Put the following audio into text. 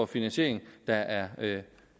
finansiering der er